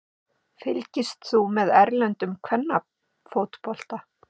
Fylgist þú með erlendum kvennafótbolta?